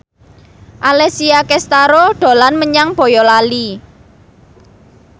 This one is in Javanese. Alessia Cestaro dolan menyang Boyolali